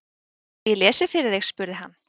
Viltu að ég lesi fyrir þig? spurði hann.